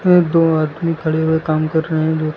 ये दो आदमी खड़े हुए काम कर रहे हैं जोकि--